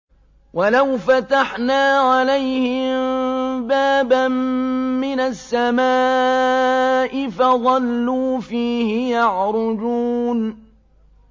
وَلَوْ فَتَحْنَا عَلَيْهِم بَابًا مِّنَ السَّمَاءِ فَظَلُّوا فِيهِ يَعْرُجُونَ